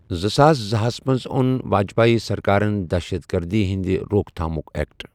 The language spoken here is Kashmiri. زٕساس زٕ ہس منٛز اوٚن واجپای سرکارن دہشت گردی ہِنٛدِ روکتھامُک اٮ۪کٹ۔